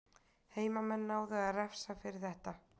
Heimamenn náðu að refsa fyrir þetta.